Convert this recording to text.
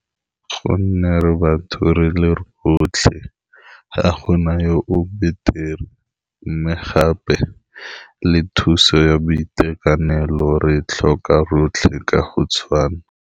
Gonne re batho re le rotlhe ga gona yo o betere mme gape le thuso ya boitekanelo re tlhoka rotlhe ka go tshwana.